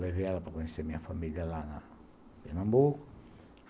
Levei ela para conhecer a minha família lá em Pernambuco.